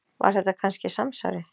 Var þetta kannski samsæri?